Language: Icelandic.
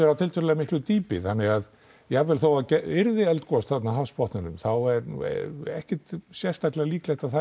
á tiltölulega miklu dýpi þannig að jafnvel þó það yrði eldgos þarna á hafsbotninum þá er ekkert sérstaklega líklegt að það